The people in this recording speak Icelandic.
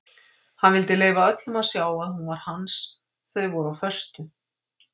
Hann vildi leyfa öllum að sjá að hún var hans þau voru á föstu.